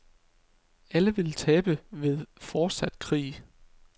Alle vil tabe ved fortsat krig.